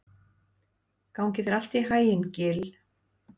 Gangi þér allt í haginn, Gill.